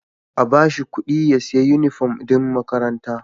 A bashi kudi ya siya inufom din makaranta